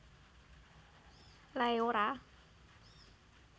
Lae Ora